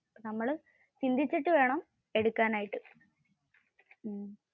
നമ്മള് ചിന്തിച്ചിട്ട് വേണം എടുക്കാൻ ആയിട്ടു.